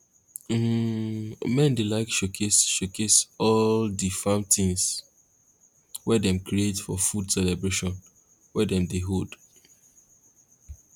um men dey like showcase showcase all di farm things wey dem create for food celebration wey dem dey hold